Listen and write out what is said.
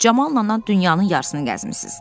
Camallanandan dünyanın yarısını gəzmisiz.